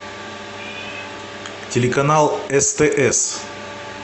телеканал стс